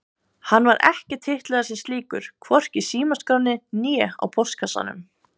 Hann var ekki titlaður sem slíkur, hvorki í símaskránni né á póstkassanum.